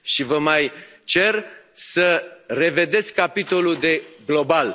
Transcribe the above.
Și vă mai cer să revedeți capitolul Global.